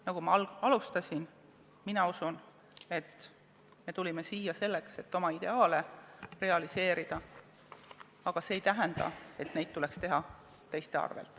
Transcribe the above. Nagu ma alguses ütlesin, usun ma, et tulime siia selleks, et oma ideaale realiseerida, aga see ei tähenda, et neid tuleks teha teiste arvel.